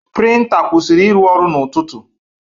Prịnta kwụsịrị ịrụ ọrụ n'ụtụtụ.